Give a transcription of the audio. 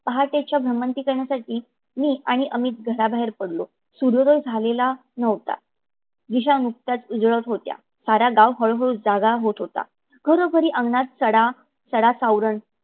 पहाटेची भ्रमंती करण्यासाठी मी आणि अमित घराबाहेर पडलो. सूर्योदय झालेला नव्हता. दिशा नुकत्याच उजळत होत्या. सारा गाव हळू हळू जागा होत होता. घरोघरी अंगणात सडा सावरण